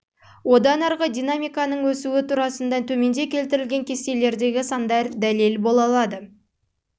одан арғы динамиканың өсуі турасында төменде келтірілген кестелердегі сандар дәлел бола алады